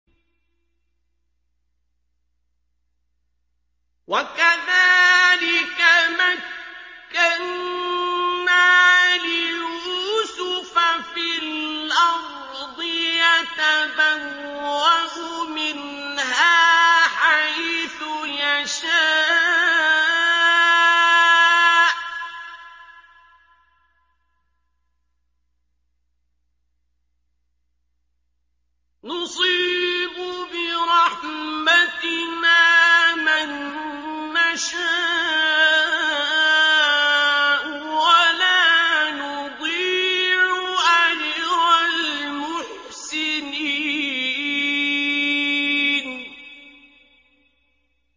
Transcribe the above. وَكَذَٰلِكَ مَكَّنَّا لِيُوسُفَ فِي الْأَرْضِ يَتَبَوَّأُ مِنْهَا حَيْثُ يَشَاءُ ۚ نُصِيبُ بِرَحْمَتِنَا مَن نَّشَاءُ ۖ وَلَا نُضِيعُ أَجْرَ الْمُحْسِنِينَ